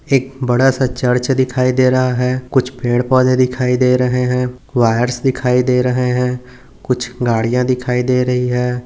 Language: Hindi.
एक बड़ा सा चर्च दिखाई दे रहा है कुछ पेड़ पौधे दिखाई दे रहे है वायर्स दिखाई दे रहे है कुछ गड़िया दिखाई दे रही है।